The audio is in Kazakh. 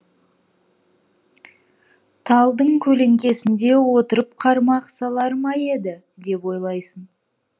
талдың көлеңкесінде отырып қармақ салар ма еді деп ойлайсың